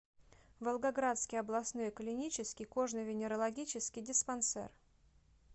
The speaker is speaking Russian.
волгоградский областной клинический кожно венерологический диспансер